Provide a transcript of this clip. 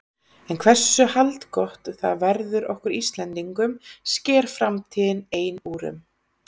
En hversu haldgott það verður okkur Íslendingum sker framtíðin ein úr um.